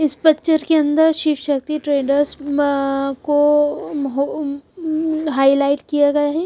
इस पिक्चर के अंदर शिव शक्ति ट्रेडर्स को हाईलाइट किया गया है।